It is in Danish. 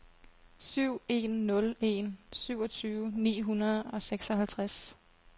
syv en nul en syvogtyve ni hundrede og seksoghalvtreds